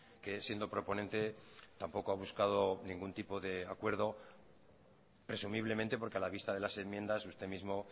que siendo proponente tampoco ha buscado ningún tipo de acuerdo presumiblemente porque a la vista de las enmiendas usted mismo